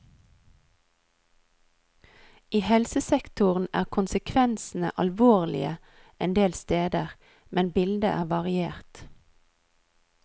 I helsesektoren er konsekvensene alvorlige en del steder, men bildet er variert.